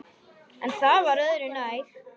En það var öðru nær!